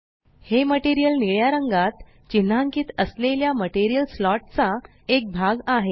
हे मटेरियल निळ्या रंगात चिन्हांकीत असलेल्या मटेरियल स्लॉट चा एक भाग आहे